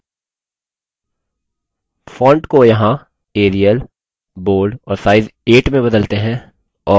fonts को यहाँ arial bold और size 8 में बदलते हैं